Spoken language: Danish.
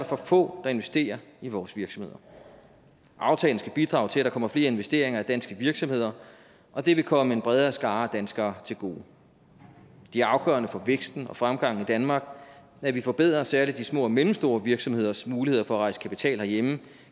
for få der investerer i vores virksomheder aftalen skal bidrage til at der kommer flere investeringer i danske virksomheder og det vil komme en bredere skare af danskere til gode det er afgørende for væksten og fremgangen i danmark at vi forbedrer særlig de små og mellemstore virksomheders muligheder for at rejse kapital herhjemme